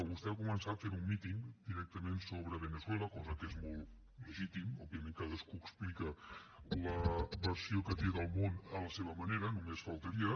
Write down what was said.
vostè ha començat fent un míting directament sobre veneçuela cosa que és molt legítima òbviament cadascú explica la versió que té del món a la seva manera només faltaria